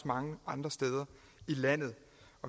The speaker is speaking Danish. mange andre steder i landet